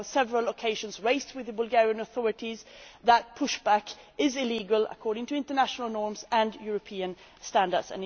We have on several occasions raised with the Bulgarian authorities the fact that push back is illegal according to international norms and European standards.